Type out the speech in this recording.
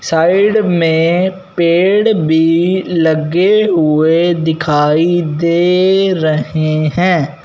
Side में पेड़ भी लगे हुए दिखाई दे रहे हैं।